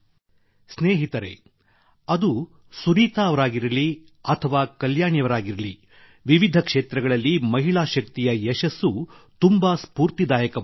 ಸ್ನೇಹಿತರೇ ಅದು ಸುನೀತಾ ಅವರಾಗಿರಲಿ ಅಥವಾ ಕಲ್ಯಾಣಿಯವರಾಗಿರಲಿ ವಿವಿಧ ಕ್ಷೇತ್ರಗಳಲ್ಲಿ ಮಹಿಳಾ ಶಕ್ತಿಯ ಯಶಸ್ಸು ತುಂಬಾ ಸ್ಪೂರ್ತಿದಾಯಕವಾಗಿದೆ